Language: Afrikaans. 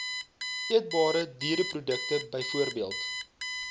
eetbare diereprodukte bv